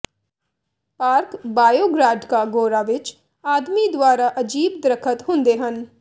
park ਬਾਇਓਗ੍ਰਾਡਕਾ ਗੋਰਾ ਵਿਚ ਆਦਮੀ ਦੁਆਰਾ ਅਜੀਬ ਦਰਖ਼ਤ ਹੁੰਦੇ ਹਨ